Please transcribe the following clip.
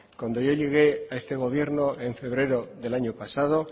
cuando yo llegué a este gobierno en febrero del año pasado